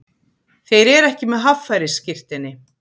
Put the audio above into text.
Þeir eru ekki með haffærisskírteini